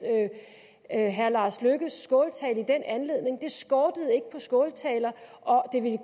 herre lars løkke rasmussens skåltale i den anledning det skortede ikke på skåltaler og det ville